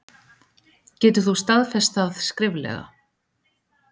Getur þú staðfest það skriflega?